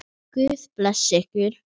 Guð blessi ykkur.